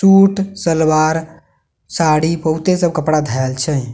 shoot salwar sari बहुते सब कपड़ा धैल छै--